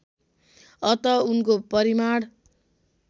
अत उनको परिमाण